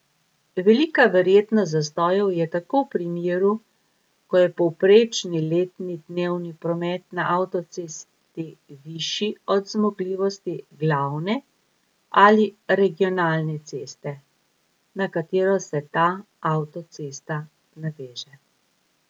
Velika verjetnost zastojev je tako v primeru, ko je povprečni letni dnevni promet na avtocesti višji od zmogljivosti glavne ali regionalne ceste, na katero se ta avtocesta naveže.